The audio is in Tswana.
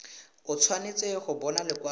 o tshwanetse go bona lekwalo